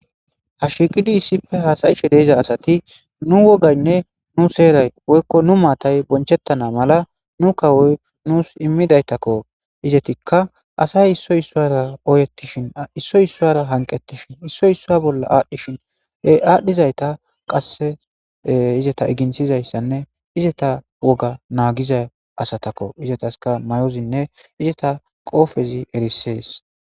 Ha shiqidi issipe hasayishe de'iza asati nu wogayne nu seray woykon nu mattay bochetana mala nu kawoyi nusi immidaytako izetika asay issoyi issara oyetishin issoy issara hanqetishin issoyi issa bolla adhishin e adhizayta qaseizetz iginthizaysanne izzeta woga nagiza asatako izzetaska mayozine izetas qopezi erises.